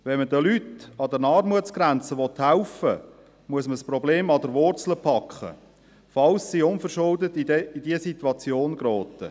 Wenn man den Leuten an der Armutsgrenze helfen will, muss man das Problem an der Wurzel packen, falls diese unverschuldet in diese Situation geraten.